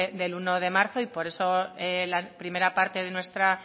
del uno de marzo y por eso en la primera parte de nuestra